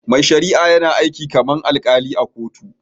Mai shari'a yana aiki kamar alkali a cikin kotu